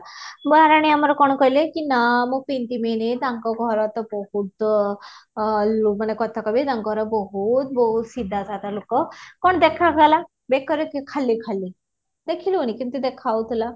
ମହାରାଣୀ ଆମର କଣ କହିଲେ କି ନା ମୁଁ ପିନ୍ଧିବିନି ତାଙ୍କ ଘର ତ ବହୁତ ଆଃ ମାନେ କଥା କହିବେ ତାଙ୍କର ବହୁତ ବହୁତ ସିଧା ସାଧା ଲୋକ କଣ ଦେଖା ଗଲା ବେକରେ କି ଖାଲି ଖାଲି ଦେଖିଲଣି କେମିତି ଦେଖାଯାଉଥିଲା